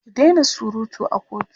ki Daina surutu a kotu!